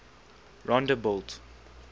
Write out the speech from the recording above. rondebult